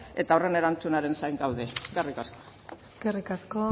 eta horren erantzunaren zain gaude eskerrik asko eskerrik asko